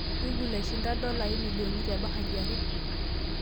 google aishinda dolai milionini tebahati ake